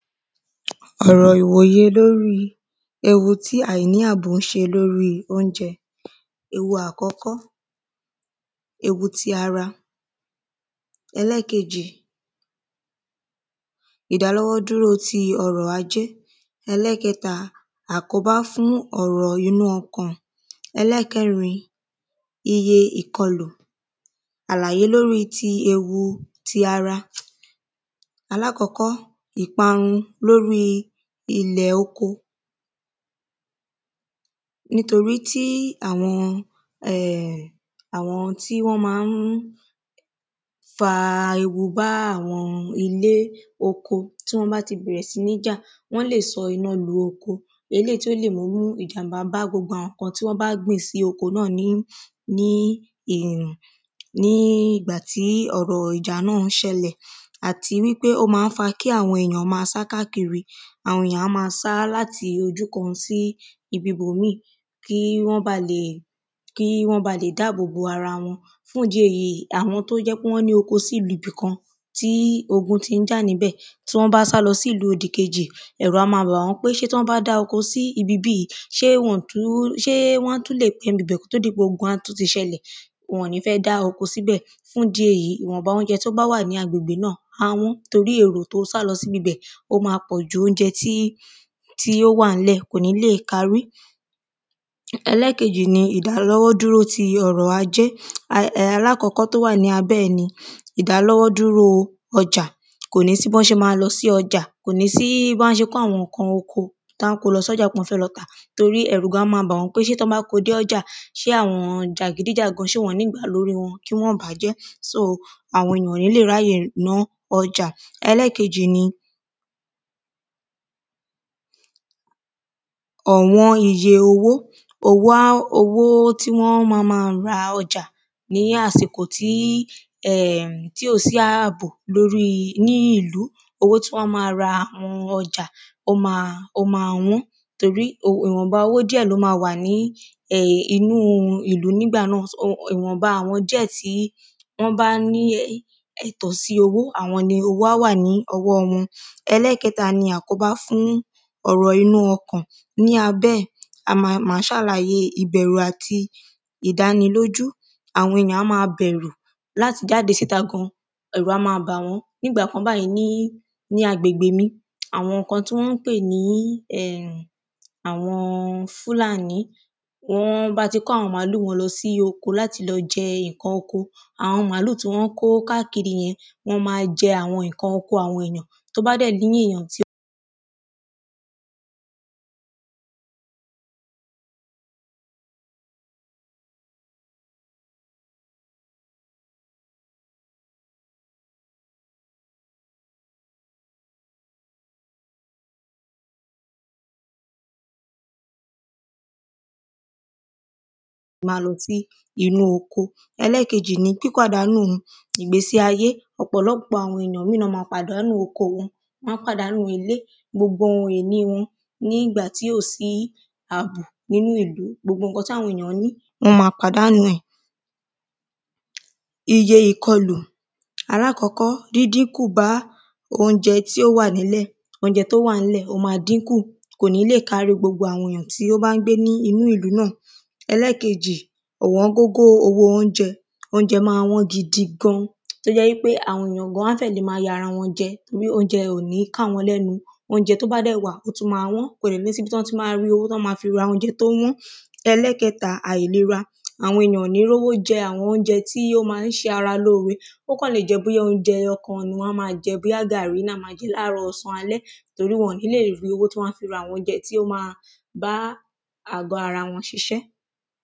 Ọ̀rọ̀ ìwòyè lórí ewu tí àìní àbò ń ṣe lórí óúnjẹ. Ewu àkọ́kọ́ ewu ti ara. Ẹlẹ́ẹ̀kejì ìdálọ́wọ́ dúró ti ọrọ̀ ajé. Ẹlẹ́ẹ̀kẹta àkóbá fú ọrọ̀ inú ọkàn ẹlẹ́ẹ̀kẹrin iye ìkọlù àlàyé lórí ewu ti ara aláàkọ́kọ́ lórí ilẹ̀ oko nítorí tí àwọn àwọn tí wọ́n má ń fa ewu bá àwọn ilé oko tí wọ́n bá ti bẹ̀rẹ̀ sí ní dá wọ́n lè sọná lu oko eléèyí tí ó lè mú ìjàḿbá bá gbogbo àwọn nǹkan tí wọ́n bá gbìn sí oko náà ní ní ìgbà tí ọ̀rọ̀ ìjà náà ṣẹlẹ̀ àti wípé ó má ń fa kí àwọn èyàn má sá káàkiri àwọn èyàn á má sá láti ojú ibìkan sí ibi bòmíì kí wọ́n lè kí wọ́n bá lè dáàbò bo ara wọn fún ìdí èyí àwọn tó jẹ́ pé wọ́n ní oko sí ibìkan kí ogun tí ń jà níbẹ̀ tí wọ́n bá sá lọ sí ìlú kejì ẹ̀rù á má bà wọ́n pé tí wọ́n bá dá oko síbi bí yìí ṣé wọn ní ṣé wọ́n tún lè dé ibi bẹ̀ kó tó di pé ogun á ṣẹlẹ̀ wọn ní fẹ́ dá oko síbẹ̀ fún ìdí èyí ìwọ̀nba óúnjẹ tí ó bá wà ní agbègbè náà má wọ́n torĩ èrò tí ó sálọ sí ibi bẹ́ẹ̀ ó má pọ̀ jù óúnjẹ tí tí ó wà ńlẹ̀ kò ní lè parí Ẹlẹ́ẹ̀kejì ni ìdánilọ́wọ́ dúró ti ọrọ̀ ajé alákọ́kọ́ tó wà níbẹ̀ ni ìdálọ́wọ́ dúró ọjà kò ní sí bọ́n ṣe má lọ sí ọjà kò ní sí bí wọ́n á ṣe kó àwọn nǹkan oko bí wọ́n á ṣe kó wọn lọ sọ́jà lọ tà torí ẹ̀rù á má bà wọ́n gan pé tán bá kó dọ́jà kí àwọn jàgídíjàgan wọ́n gbá lórí wọn wọ́n ní bàájẹ́ so àwọn èyàn ò ní lè ráyè láti ná ọjà. Ẹlẹ́ẹ̀kejì ni ọ̀wọ́n iye owó owó owó tí wọ́n á má má ra ọjà ní àsìkò tí tí ò sí àbò lórí ní ìlú owó tí wọ́n á má ra àwọn ọjà ó má ó má wọ́n torí ìwọ̀nba owó díẹ̀ ló má wà ní um inú ìlú nígbà náà um ìwọ̀nba àwọn díẹ̀ tó wà ní wọ́n bá ní ẹ̀tọ́ sí owó àwọn ni owó wà ní owọ́ wọn Ẹlẹ́ẹ̀kẹta ni àkóbá fún ọ̀rọ̀ inú ọkàn ní abẹ́ ẹ̀ a má má ṣàlàyé ìbẹ̀rù àti ìdánilójú àwọn èyàn á má bẹ̀rù láti jáde síta gan ẹ̀rù á má bá wọ́n nígbà kan báyìí ní agbègbè mi àwọn kan tí wọ́n pé ní um àwọn fúlàní wọ́n bá ti kó àwọn màálù wọn lọ sínú oko láti lọ jẹ oko àwọn màálù tí wọ́n ń kó káàkiri yẹn wọ́n má jẹ nǹkan oko àwọn èyàn tó bá dẹ̀ jẹ́ èyàn tí ó má lọ sí inú oko. Ẹlẹ́ẹ̀kejì ni pípàdánù ìgbésí ayé ọ̀pọ̀lọpọ̀ àwọn èyàn ló má pàdánù oko wọn wọ́n á pàdánù ilé gbogbo ohun ìní wọn nígbà tí ò sí àbò nínú ìlú gbogbo nǹkan táwọn èyàn ní wọ́n má pàdánù wọn iyẹ ìkọlù alákọ́kọ́ díndínkù bá óúnjẹ tí ó wà nílẹ̀ óúnjẹ tí ó wà ńlẹ̀ ó má dínkù kò ní lè kárí gbogbo àwọn èyàn tí wọ́n bá ń gbé nínú ìlú náà. Ẹlẹ́ẹ̀kejì ọ̀wọ́n gógó owó óúnjẹ óúnjẹ má wọ́n gidi gan tó jẹ́ wípé àwọn èyàn gan wọ́n fẹ́ le má ya ara wọn jẹ tó jẹ́ pé óúnjẹ ò ní ká wọn lẹ́nu óúnjẹ tó bá dẹ̀ wà ó tún má wọ́n kò dẹ̀ ní sí ibi tí wọ́n ti má rí owó láti ra óúnjẹ tí ó wọ́n Ẹlẹ́ẹ̀kẹta àìlera àwọn èyàn ò ní rówó jẹ óúnjẹ tí ó má ṣaralóre ó kàn lè jẹ́ pé bóyá óúnjẹ kan ni wọ́n á má jẹ ní àárọ̀ ọ̀sán alẹ́ torí wọn ní lè rí owó láti ra àwọn óúnjẹ tí ó má bá àgọ́ ara wọn ṣiṣẹ́.